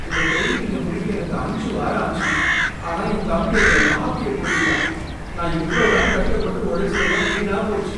இந்த பெயிண்டிங்கை முடிக்க எனக்கு அஞ்சு வாரம் ஆச்சு. ஆனா என் தம்பி அதுல காப்பிய கொட்டிட்டான். நான் இவ்ளோ நாள் கஷ்டப்பட்டு உழைசச்சதெல்லாம் வீணா போச்சு.